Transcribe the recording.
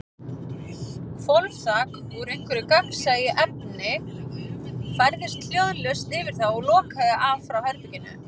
Hvolfþak, úr einhverju gagnsæju efni, færðist hljóðlaust yfir þá og lokaði af frá herberginu.